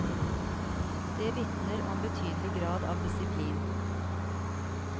Det vitner om betydelig grad av disiplin.